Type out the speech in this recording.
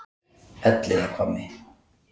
Elliðahvammi